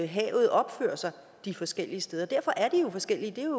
havet opfører sig de forskellige steder derfor er de jo forskellige det